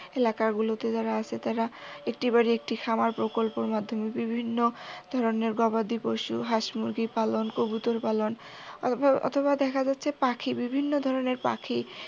এলাকা গুলোতে যারা আছে তারা একটি বাড়ি একটি খামার প্রকল্পের মাধ্যমে বিভিন্ন ধরনের গবাদি পশু হাস মুরগি পালন কবুতর পালন অথবা দেখা যাচ্ছে পাখি বিভিন্ন ধরনের পাখি